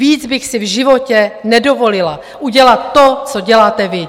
Víc bych si v životě nedovolila, udělat to, co děláte vy.